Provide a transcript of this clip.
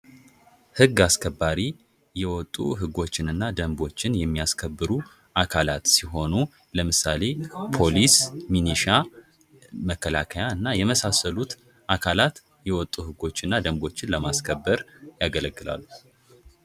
ህግ አስከባሪ የወጡ ህጎችንና ደንቦችን የሚያስከብሩ አካለት ሲሆኑ ለምሳሌ ፖሊስ ሚሊሻ መከላከያና የመሳሰሉት አካላት የወጡ ህጎችና ደንቦችን ለማስከበር ያገለግላሉ።